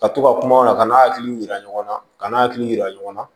Ka to ka kumaw la ka n'a hakiliw yira ɲɔgɔn na ka n'a hakili yira ɲɔgɔn na